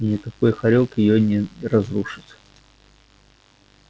и никакой хорёк её не разрушит